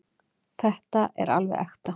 Þetta er alveg ekta.